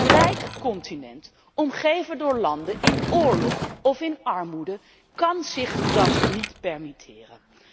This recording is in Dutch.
Een rijk continent omgeven door landen in oorlog of in armoede kan zich dat niet permitteren.